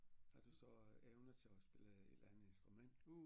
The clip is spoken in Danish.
Har du så evne til at spille et eller andet instrument